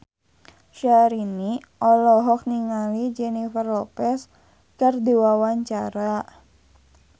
Syahrini olohok ningali Jennifer Lopez keur diwawancara